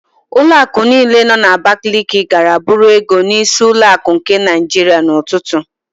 Ụlọakụ niile nọ n'Abakaliki gara buru ego n'Ísí ụlọakụ nke Naịjiria n'ụtụtụ.